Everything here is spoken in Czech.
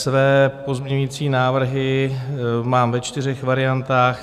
Své pozměňovací návrhy mám ve čtyřech variantách.